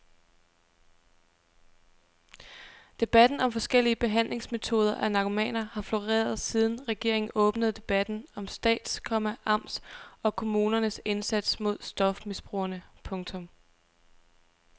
Debatten om forskellige behandlingsmetoder af narkomaner har floreret siden regeringen åbnede debatten om stats, komma amts og kommuners indsats mod stofmisbrugere. punktum